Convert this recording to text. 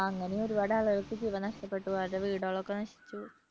അങ്ങനെ ഒരുപാട് ആളുകൾക്ക് ജീവൻ നഷ്ടപ്പെട്ടു വീടുകൾ ഒക്കെ നശിച്ചു.